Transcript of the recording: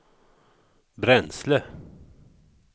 bränsle